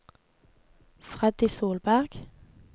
Freddy Solberg